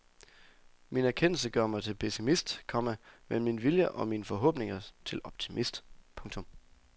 Min erkendelse gør mig til pessimist, komma men min vilje og mine forhåbninger til optimist. punktum